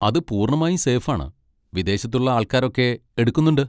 അത് പൂർണ്ണമായും സേഫ് ആണ്. വിദേശത്തുള്ള ആൾക്കാരൊക്കെ എടുക്കുന്നുണ്ട്.